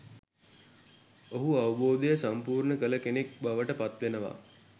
ඔහු අවබෝධය සම්පූර්ණ කළ කෙනෙක් බවට පත්වෙනවා.